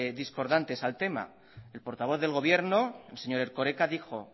discordantes al tema el portavoz del gobierno el señor erkoreka